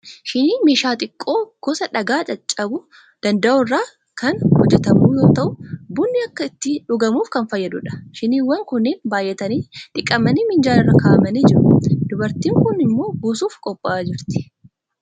Shiniin meeshaa xiqqoo gosa dhagaa caccabuu danda'u irraa kan hojjetamu yoo ta'u, bunni akka itti dhugamuuf kan fayyadudha. Shiniiwwan kunneen baay'atanii dhiqamanii minjaala irra kaa'amnii jiru. Dubartiin kun immoo buusuuf qophaa'aa jirti.